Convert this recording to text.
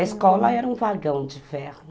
A escola era um vagão de ferro.